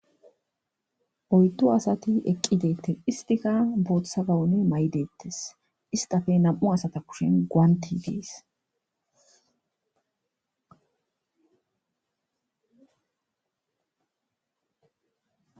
Oyddo asati eqqi deette istika booththa gawune may7 deettes istafe nam7u asata kushen guanti dies